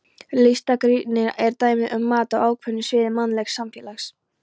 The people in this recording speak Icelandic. Listgagnrýni er dæmi um mat á ákveðnu sviði mannlegs samfélags.